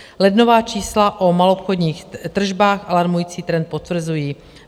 Lednová čísla o maloobchodních tržbách alarmující trend potvrzují.